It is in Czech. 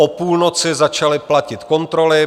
O půlnoci začaly platit kontroly.